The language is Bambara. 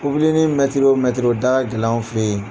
Popilenii mɛtiri o mɛiri, o da ka gɛlɛ anw fɛ yen.